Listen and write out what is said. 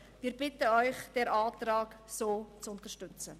Wir bitten Sie, den Antrag so zu unterstützen.